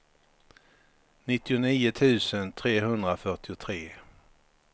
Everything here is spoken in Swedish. nittionio tusen trehundrafyrtiotre